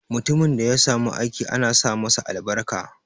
Mutumin da ya samu aiki ana sa masa albarka.